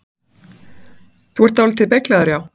Þú ert dáldið beyglaður, já.